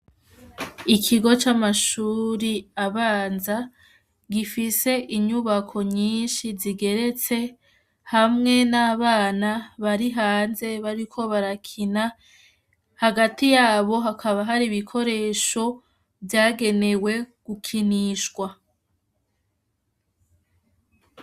Ikigo c'amashuri abanza gifise inyubako nyinshi zigeretse hamwe n'abana bari hanze bariko barakina, hagati yabo hakaba hari ibikoresho vyagenewe gukinishwa.